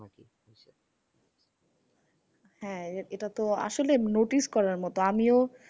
হ্যাঁ এটা তো আসলে notice করার মত। আমিও